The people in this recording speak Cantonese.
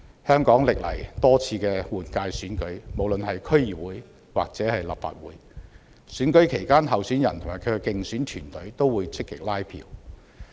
香港歷來多次的區議會或立法會換屆選舉期間，候選人及其競選團隊都會積極拉票。